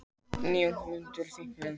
Níu ökumenn undir áhrifum fíkniefna